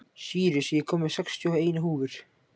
Sýrus, ég kom með sextíu og eina húfur!